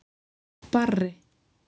Barri